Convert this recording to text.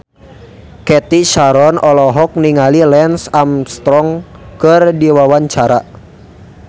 Cathy Sharon olohok ningali Lance Armstrong keur diwawancara